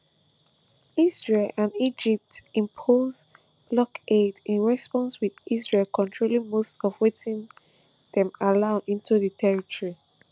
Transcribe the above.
israel and egypt impose blockade in response wit israel controlling most of wetin dem allow into di territory